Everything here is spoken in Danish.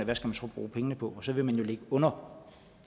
man skal bruge pengene på og så vil man jo ligge under